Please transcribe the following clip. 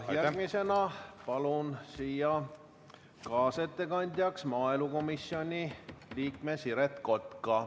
Järgmisena palun siia kaasettekandjaks maaelukomisjoni liikme Siret Kotka.